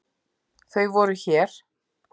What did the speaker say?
Þau voru hér.